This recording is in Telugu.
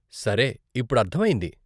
సరే, ఇప్పుడు అర్ధమైంది.